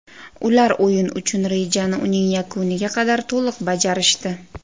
Ular o‘yin uchun rejani uning yakuniga qadar to‘liq bajarishdi.